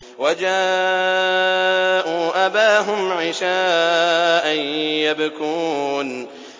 وَجَاءُوا أَبَاهُمْ عِشَاءً يَبْكُونَ